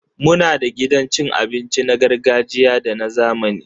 Muna da gidan cin abinci na gargajiya da na zamani